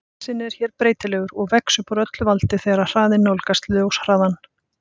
Massinn er hér breytilegur og vex upp úr öllu valdi þegar hraðinn nálgast ljóshraðann.